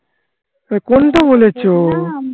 তা কোনটা বলেছো?